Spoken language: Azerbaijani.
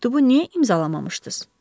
Məktubu niyə imzalamamışdız?